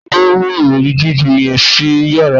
Tani o mu irọri jiju yẹn si yara naa?